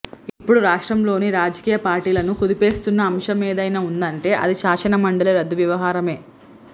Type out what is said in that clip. ఇపుడు రాష్ట్రంలోని రాజకీయ పార్టీలను కుదిపేస్తున్న అంశమేదైనా ఉందంటే అది శాసనమండలి రద్దు వ్యవహారమే